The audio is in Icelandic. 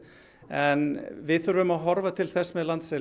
en við þurfum að horfa til þess